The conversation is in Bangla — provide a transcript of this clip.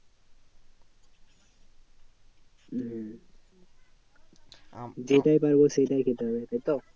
হম হম হম যেটাই খাওয়াবো সেটাই খেতে হবে, তাইতো?